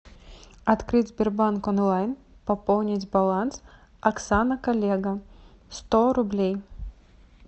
открыть сбербанк онлайн пополнить баланс оксана коллега сто рублей